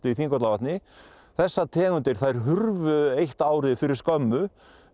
Þingvallavatni þessar tegundir þær hurfu eitt árið fyrir skömmu